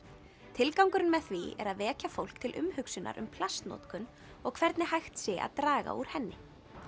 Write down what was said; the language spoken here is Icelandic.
tilgangurinn með því er að vekja fólk til umhugsunar um plastnotkun og hvernig hægt sé að draga úr henni